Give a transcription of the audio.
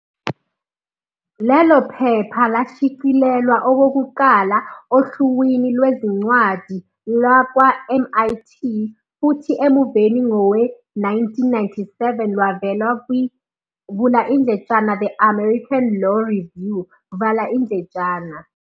Lelo phepha lashicilelwa okokuqala ohluwini lwezincwadi lakwa-MIT futho emuveni ngowe-1997 lwavela kwi- "The American Law Review".